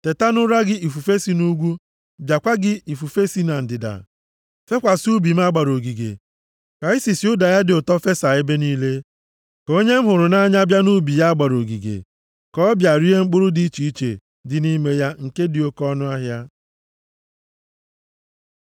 Teta nʼụra gị ifufe si nʼugwu; + 4:16 Ọ bụ ifufe na-esite na mpaghara ugwu, nke na-efe nwayọọ na-eme ka mkpụrụ dị ọhụrụ, maa mma. Ma nke na-esite na ndịda, na-ebute okpomọkụ na-eme ka mkpụrụ ndị a chaa nke ọma. Ikuku abụọ ndị a bụ ihe na-ekusasi ezi isisi nke okoko ahịhịa dị nʼubi a gbara ogige. bịakwa gị ifufe si na ndịda, fekwasị ubi m a gbara ogige, ka isisi ụda ya dị ụtọ fesaa ebe niile, ka onye m hụrụ nʼanya bịa nʼubi ya a gbara ogige, ka ọ bịa rie mkpụrụ dị iche iche dị nʼime ya nke dị oke ọnụahịa.